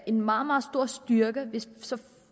en meget meget stor styrke hvis så